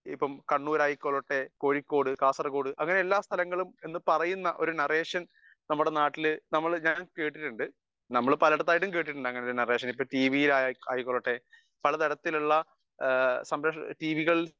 speaker 1 Kannur ആയിക്കോട്ടെ കോഴിക്കോട് കാസർഗോഡ് അങ്ങനെ എല്ലാ സ്ഥലങ്ങളും എന്ന് പറയുന്ന ഒരു നറേഷൻ നമ്മുടെ നാട്ടില് ഞാൻ കേട്ടിട്ടുണ്ട് നമ്മൾ പലേടത്തായിട്ടും കേട്ടിട്ടുണ്ട് അങ്ങനെയുള്ള നേരേഷൻ അത് ടീവിയിൽ ആയിക്കോട്ടെ പലതരത്തിലുള്ള ടീവികൾ